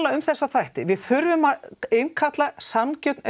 um þessa þætti við þurfum að innkalla sanngjörn